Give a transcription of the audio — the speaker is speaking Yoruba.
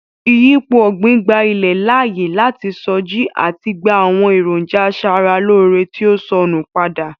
Ìyípo ọ̀gbín gba ilẹ̀ láàyè láti sọjí àti gba àwọn èròńjà asara-lóóre tí ó sọnù padà.